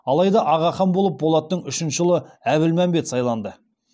алайда аға хан болып болаттың үшінші ұлы әбілмәмбет сайланды